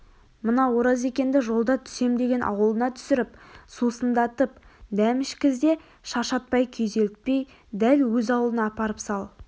мына оразекенді жолда түсем деген аулына түсіріп сусындатып дәм ішкіз де шаршатпай күйзелтпей дәл өз аулына апарып сал